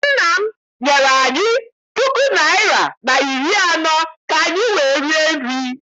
Nna m nyere anyị puku naịra na iri anọ ka anyị wee rie nri.